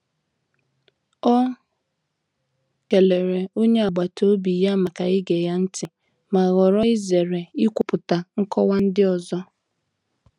O kelere onye agbata obi ya maka ige ya ntị, ma họọrọ izere ikwupụta nkọwa ndị ọzọ.